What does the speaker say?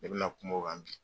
Ne bɛ na kuma o kan bi.